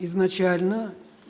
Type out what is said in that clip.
изначально